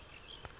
letemhlaba